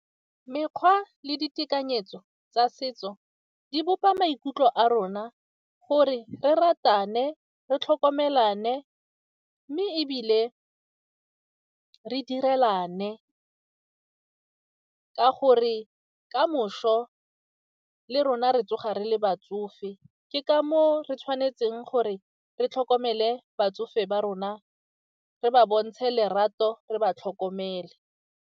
Mekgwa le ditekanyetso tsa setso di bopa maikutlo a rona gore re ratane, re tlhokomelane mme ebile re direlane ka gore kamoso le rona re tsoga re le batsofe, ke ka moo re tshwanetseng gore re tlhokomele batsofe ba rona, re ba bontshe lerato, re ba tlhokomele.